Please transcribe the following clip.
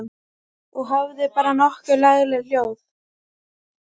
Og hafði bara nokkuð lagleg hljóð.